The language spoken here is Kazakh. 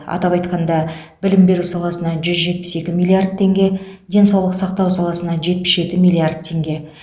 атап айтқанда білім беру саласына жүз жетпі екі миллиард теңге денсаулық сақтау саласына жетпіс жеті миллиард теңге